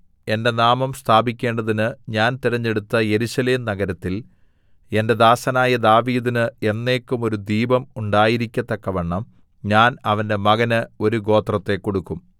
എന്റെ നാമം സ്ഥാപിക്കേണ്ടതിന് ഞാൻ തിരഞ്ഞെടുത്ത യെരൂശലേം നഗരത്തിൽ എന്റെ ദാസനായ ദാവീദിന് എന്നേക്കും ഒരു ദീപം ഉണ്ടായിരിക്കത്തക്കവണ്ണം ഞാൻ അവന്റെ മകന് ഒരു ഗോത്രത്തെ കൊടുക്കും